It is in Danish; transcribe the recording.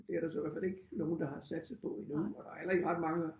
Det er der så i hvert fald ikke nogen der har satset på endnu og der er heller ikke ret mange